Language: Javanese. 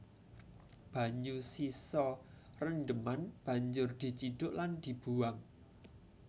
Banyu sisa rendheman banjur dicidhuk lan dibuwang